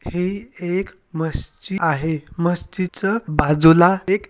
हे एक मस्जिद आहे मस्जिदच बाजूला एक--